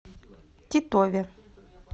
титове